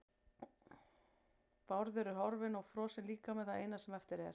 Bárður er horfinn og frosinn líkami það eina sem eftir er.